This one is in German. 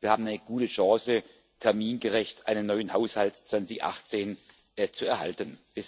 Wir haben eine gute Chance, termingerecht einen neuen Haushalt 2018 zu erhalten.